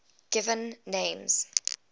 given names